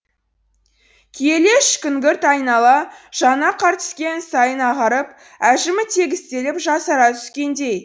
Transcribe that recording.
күйелеш күңгірт айнала жаңа қар түскен сайын ағарып әжімі тегістеліп жасара түскендей